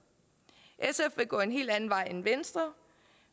sf vil gå en helt anden vej end venstre